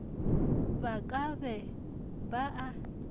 ba ka be ba a